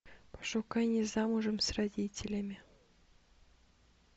пошукай не замужем с родителями